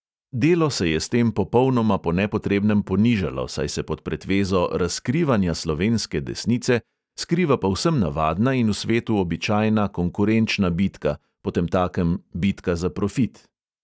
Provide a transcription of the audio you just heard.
Delo se je s tem popolnoma po nepotrebnem ponižalo, saj se pod pretvezo "razkrivanja slovenske desnice" skriva povsem navadna in v svetu običajna konkurenčna bitka, potemtakem bitka za profit.